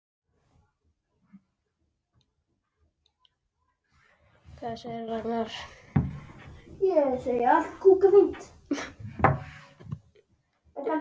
Ég er með hvíta húfu.